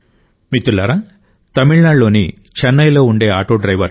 మిత్రులారా తమిళనాడులోని చెన్నైలో ఉండే ఆటో డ్రైవర్ ఎం